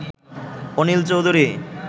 Anil Chowdhury